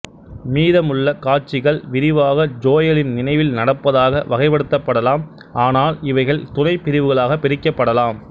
மீதமுள்ள காட்சிகள் விரிவாக ஜோயலின் நினைவில் நடப்பதாக வகைப்படுத்தப்படலாம் ஆனால் இவைகள் துணைபிரிவுகளாகப் பிரிக்கப்படலாம்